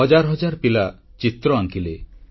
ହଜାର ହଜାର ପିଲା ଚିତ୍ର ଆଙ୍କିଲେ